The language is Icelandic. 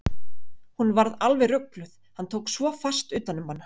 Hún varð alveg rugluð, hann tók svo fast utan um hana.